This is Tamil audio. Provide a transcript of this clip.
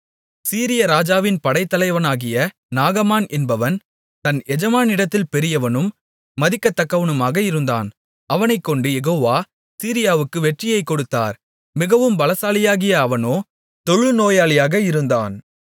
சீரிய ராஜாவின் படைத்தலைவனாகிய நாகமான் என்பவன் தன் எஜமானிடத்தில் பெரியவனும் மதிக்கத்தக்கவனுமாக இருந்தான் அவனைக்கொண்டு யெகோவா சீரியாவுக்கு வெற்றியைக் கொடுத்தார் மிகவும் பலசாலியாகிய அவனோ தொழுநோயாளியாக இருந்தான்